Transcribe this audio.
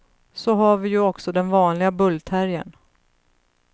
Så har vi ju också den vanliga bullterriern.